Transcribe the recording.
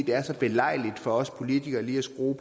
det er så belejligt for os politikere lige at skrue